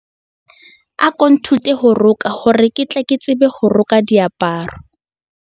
Ako nthute ho roka hore ke tle ke tsebe ho roka diaparo.